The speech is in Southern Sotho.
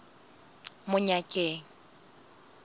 monyakeng